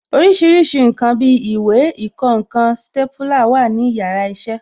Orísìírísìí ǹkan bí ìwé, ìkọǹkan, stépúlà wà ní yàrá iṣẹ́